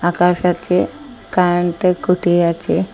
আকাশ আছে কারেন্টের খুঁটি আছে।